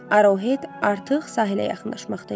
Arohet artıq sahilə yaxınlaşmaqda idi.